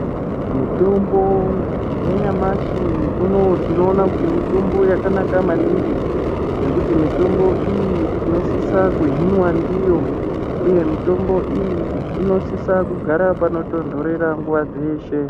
Mitombo yanyamashi unowu, tinoona kuti mitombo yakanaka maningi , nekuti mitombo iyi tinosisa kuhinwa ndiyo, uye mitombo iyi inosisa kugara panotontorera nguwa dzeshe.